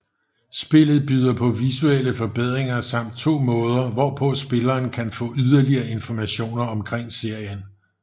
Spillet byder på visuelle forbedringer samt to måder hvorpå spilleren kan få yderligere informationer omkring serien